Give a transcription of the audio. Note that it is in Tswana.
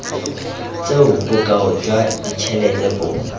tseo bokao jwa ditšhelete bo